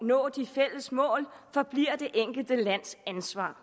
nå de fælles mål forbliver det enkelte lands ansvar